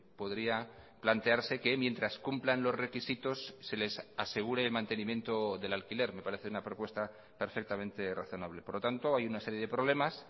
podría plantearse que mientras cumplan los requisitos se les asegure el mantenimiento del alquiler me parece una propuesta perfectamente razonable por lo tanto hay una serie de problemas